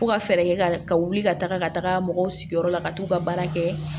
Fo ka fɛɛrɛ kɛ ka wuli ka taga ka taga mɔgɔw sigiyɔrɔ la ka t'u ka baara kɛ